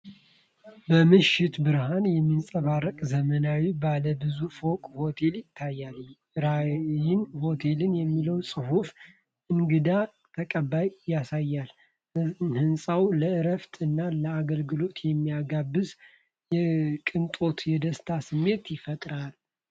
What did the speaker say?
በምሽት ብርሃን የሚያንጸባርቅ ዘመናዊ ባለ ብዙ ፎቅ ሆቴል ይታያል። "ራይን ሆተል" የሚለው ጽሑፍ እንግዳ ተቀባይነትን ያሳያል። ሕንፃው ለእረፍት እና ለአገልግሎት የሚጋብዝ የቅንጦትና የደስታ ስሜት ይፈጥራል።